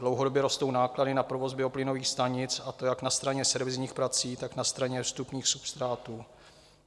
Dlouhodobě rostou náklady na provoz bioplynových stanic, a to jak na straně servisních prací, tak na straně vstupních substrátů.